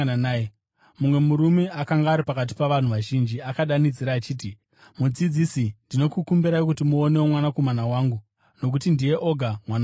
Mumwe murume akanga ari pakati pavanhu vazhinji akadanidzira achiti, “Mudzidzisi, ndinokukumbirai kuti muonewo mwanakomana wangu, nokuti ndiye oga mwana wangu.